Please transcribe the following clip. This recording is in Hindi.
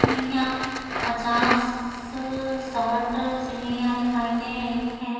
सीढियाँ पचास साठ सीढ़ियाँ दिखाई दे रही हैं।